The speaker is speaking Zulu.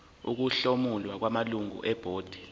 ukuhlomula kwamalungu ebhodi